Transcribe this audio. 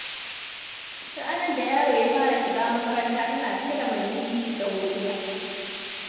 Ranar da yaro ya fara shiga makaranta tana cike da murmushi da godiya.